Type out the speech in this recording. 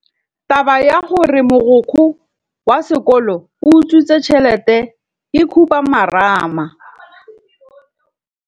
Taba ya gore mogokgo wa sekolo o utswitse tšhelete ke khupamarama.